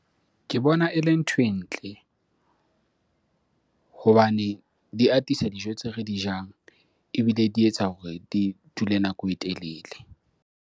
Ke bona e le nthwe ntle hobane di atisa dijo tseo re di jang ebile di etsa hore di dule nako e telele.